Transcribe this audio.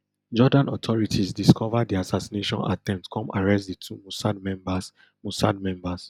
jordan authorities discova di assassination attempt come arrest di two mossad members mossad members